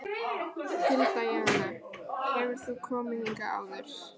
Hilda Jana: Hefur þú komið hingað áður?